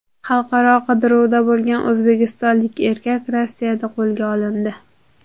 Xalqaro qidiruvda bo‘lgan o‘zbekistonlik erkak Rossiyada qo‘lga olindi.